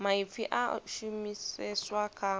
maipfi a a shumiseswa kha